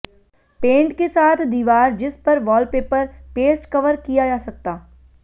paint के साथ दीवार जिस पर वॉलपेपर पेस्ट कवर किया जा सकता